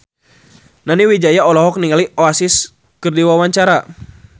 Nani Wijaya olohok ningali Oasis keur diwawancara